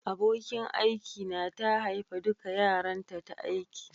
Abokin aiki na ta haifa dukan yaranta ta aiki.